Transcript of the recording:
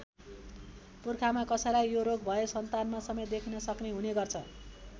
पुर्खामा कसैलाई यो रोग भए सन्तानमा समेत देखिन सक्ने हुने गर्छ।